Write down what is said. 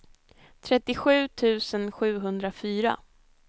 trettiosju tusen sjuhundrafyra